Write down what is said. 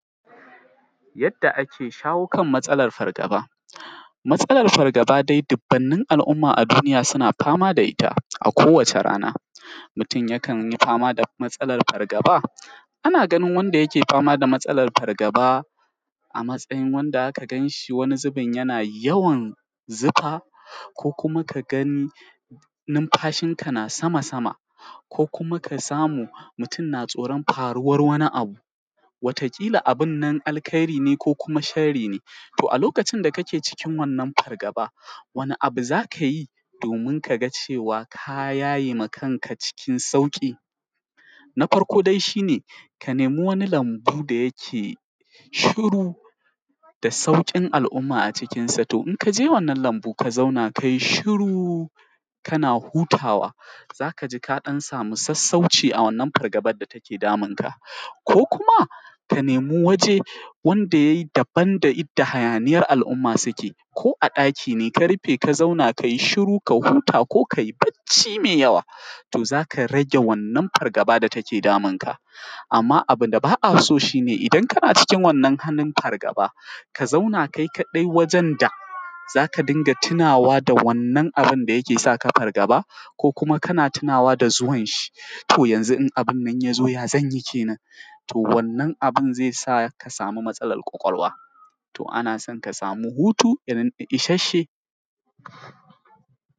Yadda ake shawo matsalar fargaba, matsalar fargaba dai dubbunnan al’umma a duniya suna fama da ita a kowace rana mutum yakan yi fama da matsalar fargaba, ana gani wanda yake fama da matsalar fargaba a matsayin wanda za ka gan shi wani zubin jana yawan zifa ko kuma ka ga numfashin sa, tana sama-sama, ko kuma ka samu mutum na tsoron faruwan wani abu. Wata kila abun nan alheiri ne ko sharri ne, to a lokacin da ka ke cikin wannan fargaba, wani abu za ka yi domin ka ga cewa ka yaye ma kanka cikin sauƙi. Na farko dai shi ne, ka nemi wani lambu da yake shiru da sauƙin al’umma a cikinsa domin ka je wannan lambun ka zauna kai shuru kana hutawa, za ka ji ka ɗan sami sassauci a wannan fargaban da take damun ka ko kuma ka nemi waje wanda yake daban da inda hayaniyar al’umma suke, ko a ɗaki ne ka rife ka zauna kai shiru ka huta ko kai bacci mai ywa, to za ka rage wannan fargaba da take damun ka. Amma abun da ba a so shi ne idan kana cikin wannan fargaba, ka zauna kai kaɗai wajen da za ka dinga tunawa da wannan abin da ke sa fargaba ko kuma ka tunawa za zuwan shi, to yanzu idan abin ya zo, ya zan yi kenan. To wannan abun zai sa ka, ka sami matsalar ƙwaƙwalwa. To ana so ka samu hutu ishasshe.